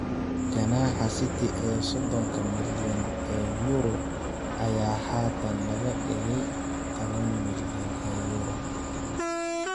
Ganaaxa City ee sodonka milyan oo euro ayaa haatan laga dhigay taban milyan oo euro.